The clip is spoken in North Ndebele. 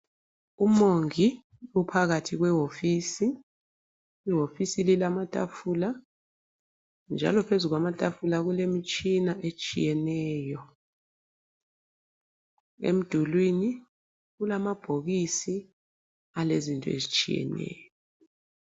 Umongi uphakathi kwehofisi. Ihofisi leyi ilamatafula njalo phezu kwamatafula kulemitshina etshiyeneyo .Emdulwini kulamabhokisi alezinto ezitshiyeneyo.